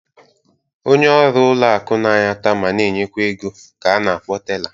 Onye ọrụ ụlọ akụ na-anata ma na-enyekwa ego ka a na-akpọ tela.